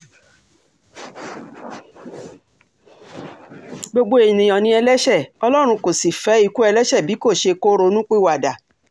gbogbo èèyàn ni ẹlẹ́ṣẹ̀ ọlọ́run kò sì fẹ́ ikú ẹlẹ́ṣẹ̀ bí kò ṣe kó ronúpìwàdà